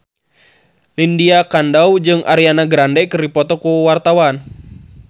Lydia Kandou jeung Ariana Grande keur dipoto ku wartawan